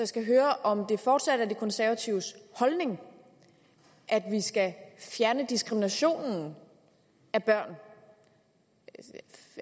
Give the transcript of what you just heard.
skal høre om det fortsat er de konservatives holdning at vi skal fjerne diskriminationen af børn